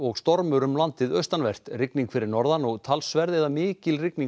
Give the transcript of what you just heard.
stormur um landið austanvert rigning fyrir norðan og talsverð eða mikil rigning